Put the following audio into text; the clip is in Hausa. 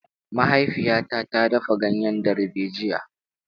Mahaifiyata ta dafa ganyen darbejiya.